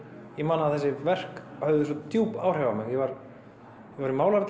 ég man að þessi verk höfðu djúp áhrif á mig ég var í